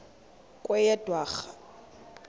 kweyedwarha